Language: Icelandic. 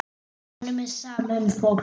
Honum er sama um fólk.